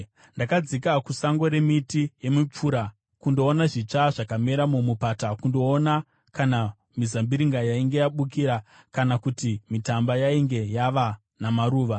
Ndakadzika kusango remiti yemipfura kundoona zvitsva zvakamera mumupata, kundoona kana mizambiringa yainge yabukira, kana kuti mitamba yainge yava namaruva.